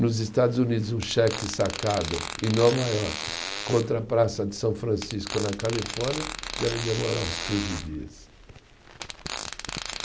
Nos Estados Unidos, um cheque sacado em Nova Iorque contra a praça de São Francisco na Califórnia deve demorar uns quinze dias.